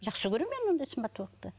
жақсы көремін мен ондай сымбаттылықты